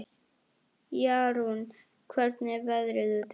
Jarún, hvernig er veðrið úti?